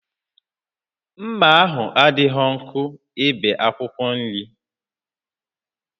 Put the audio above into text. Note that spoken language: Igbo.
Mma ahụ adịghị nkọ ibe akwụkwọ nri